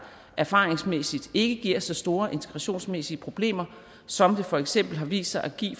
erfaringsmæssigt ved ikke giver så store integrationsmæssige problemer som det for eksempel har vist sig at give